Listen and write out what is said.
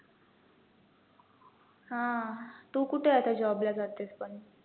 हा तु कुठे आता job ला जातेस पण